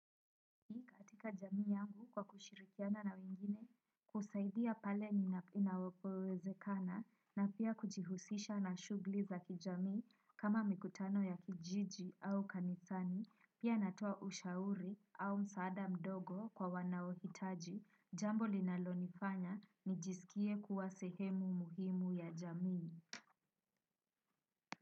Katika jamii yangu kwa kushirikiana na wengine kusaidia pale inavowezekana na pia kujihusisha na shugli za kijamii kama mikutano ya kijiji au kanisani pia natoa ushauri au msaada mdogo kwa wanaohitaji jambo linalonifanya nijisikie kuwa sehemu muhimu ya jamii.